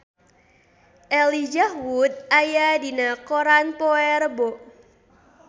Elijah Wood aya dina koran poe Rebo